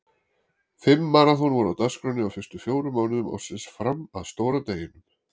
Fimm maraþon voru á dagskránni á fyrstu fjórum mánuðum ársins fram að stóra deginum.